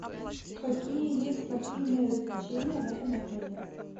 какие есть спортивные развлечения в этом отеле